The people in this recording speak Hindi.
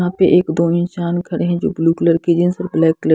यहां पे एक दो इंसान खड़े हैं जो ब्लू कलर की जींस और ब्लैक कलर --